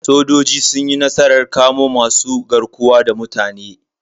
Sojoji sun yi nasarar kamo wasu masu garkuwa da mutane.